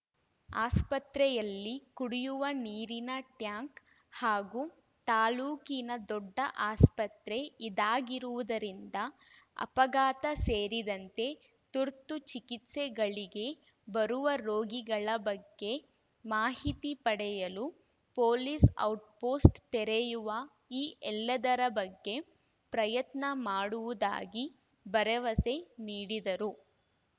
ಆಸ್ಪತ್ರೆಯಲ್ಲಿ ಕುಡಿಯುವ ನೀರಿನ ಟ್ಯಾಂಕ್‌ ಹಾಗೂ ತಾಲೂಕಿನ ದೊಡ್ಡ ಆಸ್ಪತ್ರೆ ಇದಾಗಿರುವುದರಿಂದ ಅಪಘಾತ ಸೇರಿದಂತೆ ತುರ್ತು ಚಿಕಿತ್ಸೆಗಳಿಗೆ ಬರುವ ರೋಗಿಗಳ ಬಗ್ಗೆ ಮಾಹಿತಿ ಪಡೆಯಲು ಪೊಲೀಸ್‌ ಔಟ್‌ ಪೋಸ್ಟ್‌ ತೆರೆಯುವ ಈ ಎಲ್ಲದರ ಬಗ್ಗೆ ಪ್ರಯತ್ನ ಮಾಡುವುದಾಗಿ ಭರವಸೆ ನೀಡಿದರು